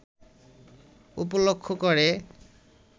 উপলক্ষ করে